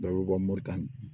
Dɔw bɛ bɔ moritani